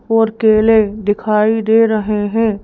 और केले दिखाई दे रहे हैं।